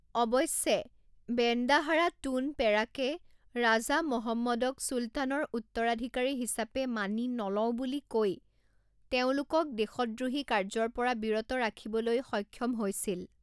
অৱশ্যে, Bendahara Tun পেৰাকে ৰাজা মহম্মদক চুলতানৰ উত্তৰাধিকাৰী হিচাপে মানি নলওঁ বুলি কৈ তেওঁলোকক দেশদ্ৰোহী কাৰ্যৰ পৰা বিৰত ৰাখিবলৈ সক্ষম হৈছিল৷